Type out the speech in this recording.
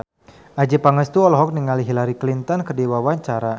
Adjie Pangestu olohok ningali Hillary Clinton keur diwawancara